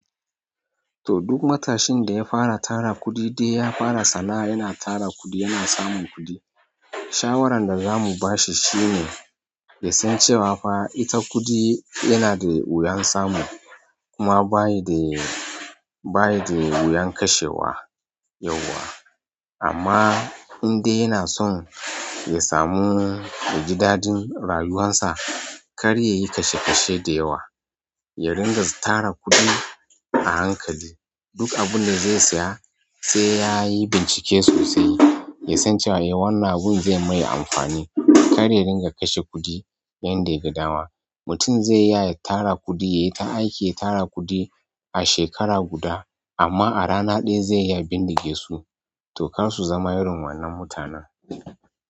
To duk matashin da ya fara tara kuɗi sai fara sana'a yana tara kuɗi, yana samun kuɗi. Shawaran da za mu ba shi shine ya san cewa fa ita kuɗi yana da wuyan samu kuma bashi da bashi da wuyan kashewa yauwa. Amma in dai yana son ya samu ya jidadin rayuwarsa, kar ya yi kashe kashe da yawa. Ya ringa tara kuɗi a hankali. Duk abun da zai saya sai ya yi bincike sosai, ya san cewa eh wannan abun zai mai amfani. Kar ya ringa kashe kuɗi yadda yaga dama. Mutum zai iya tara kuɗi, ya yi ta aiki ya tara kuɗi a shekara guda amma a rana ɗaya zai iya bindige su. To kar su zama irin wannan mutanen.